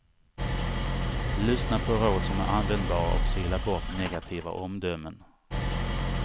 Lyssna på råd som är användbara och sila bort negativa omdömen.